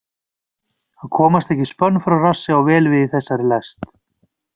Að komast ekki spönn frá rassi á vel við í þessari lest.